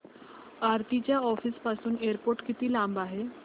आरती च्या ऑफिस पासून एअरपोर्ट किती लांब आहे